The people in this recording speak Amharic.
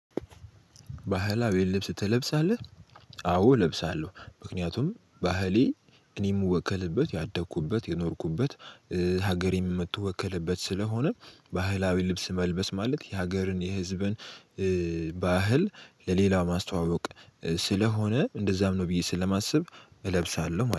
ባህላዊ ልብስ ትለብሳለህ? አዎ እለብሳለሁ ምክንያቱም ባህሌ እኔም ምወከልበት ያደኩበት የኖርኩበት ሀገሬ የምትወከልበት ስለሆነ ባህላዊ ልብስ መልበስ ማለት የሀገርን የህዝብን ባህል ለሌላ ማስተዋወቅ ስለሆነ እንደዛም ነው ብዬ ስለማስብ እለብሳለሁ